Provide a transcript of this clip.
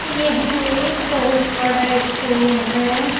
यह एक बहुत बड़ा स्कूल है।